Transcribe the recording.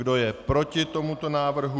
Kdo je proti tomuto návrhu?